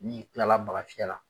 N'i kila la bagafiyɛla.